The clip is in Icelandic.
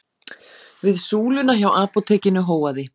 Við súluna hjá apótekinu hóaði